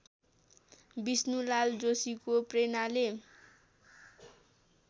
विष्णुलाल जोशीको प्रेरणाले